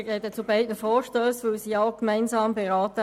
Ich spreche zu beiden Vorstössen, denn sie werden gemeinsam beraten.